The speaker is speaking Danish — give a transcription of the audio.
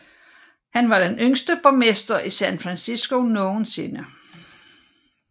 Han var den yngste borgmester i San Francisco nogensinde